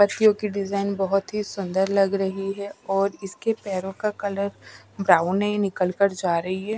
पत्तियों की डिजाइन बहुत ही सुंदर लग रही है और इसके पैरों का कलर ब्राउन है यह निकल कर जा रही है।